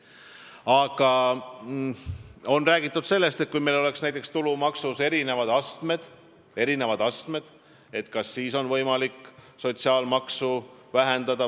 Aga on räägitud ka sellest, et kui meil oleks näiteks tulumaksu astmed, kas siis oleks võimalik sotsiaalmaksu vähendada.